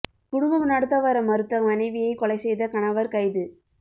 குடும்பம் நடத்த வர மறுத்த மனைவியை கொலை செய்த கணவர் கைது